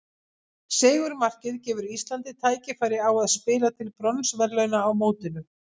Sigurmarkið gefur Íslandi tækifæri á að spila til bronsverðlauna á mótinu.